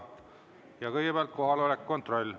Ja kõigepealt kohaloleku kontroll.